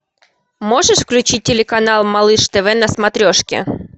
можешь включить телеканал малыш тв на смотрешке